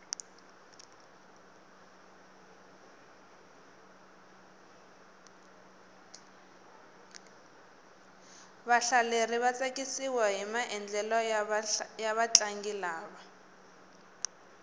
vahlaleri va tsakisiwahi maendlelo ya vatlangi lava